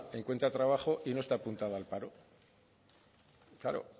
encuentra trabajo y no está apuntada al paro claro